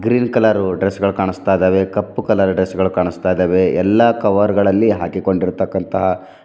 green colour dress ಗಳ್ ಕಾಣುಸ್ತಾ ಇದವೆ ಕಪ್ಪು ಕಲರ್ ಡ್ರೆಸ್ ಗಳ್ ಕಾಣಸ್ತಾ ಇದಾವೆ ಎಲ್ಲಾ ಕವರ್ ಗಳಲ್ಲಿ ಹಾಕಿಕೊಂಡಿರ್ತಕಂತಹ--